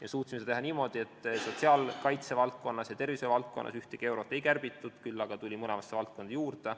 Me suutsime seda teha niimoodi, et sotsiaalkaitse ja tervise valdkonnas ühtegi eurot ei kärbitud, küll aga tuli mõlemasse valdkonda raha juurde.